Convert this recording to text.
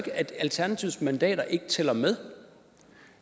at alternativets mandater ikke tæller med